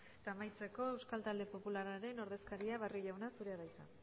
eta amaitzeko euskal talde popularraren ordezkaria barrio jauna zurea da hitza